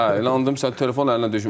Hə, elə onda məsələn telefon əlinə düşmür.